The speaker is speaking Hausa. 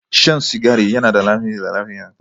Shan sigari yana da hatsari ga lafiya